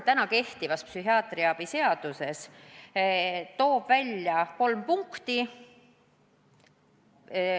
Täna kehtiva psühhiaatrilise abi seaduse § 3 toob välja kolm punkti.